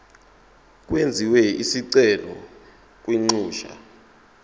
kwenziwe isicelo kwinxusa